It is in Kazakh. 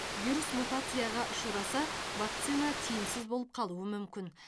вирус мутацияға ұшыраса вакцина тиімсіз болып қалуы мүмкін